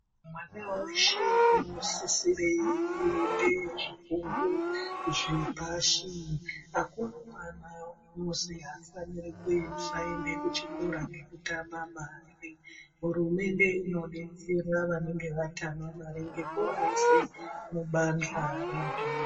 Mwana veshe unosisire kuite zvifundo zvepashi hakuna mwana unozi haafaniri kusaende kuchikora ngekutama mari. Hurumende inobetsera vanenge vatama mari ngekuvaise mubanjwa rebhimu.